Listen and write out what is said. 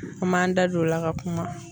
An m'an da don o la ka kuma.